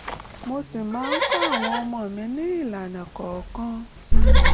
mo sì máa ń kọ́ àwọn ọmọ mi ní ìlànà kọ̀ọ̀kan